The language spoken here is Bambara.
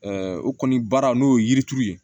o kɔni baara n'o ye yirituru ye